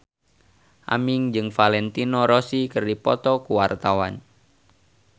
Aming jeung Valentino Rossi keur dipoto ku wartawan